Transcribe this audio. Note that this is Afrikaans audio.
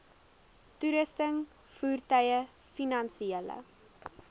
toerusting voertuie finansiële